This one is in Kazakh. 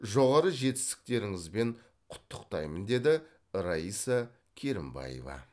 жоғары жетістіктеріңізбен құттықтаймын деді раиса керімбаева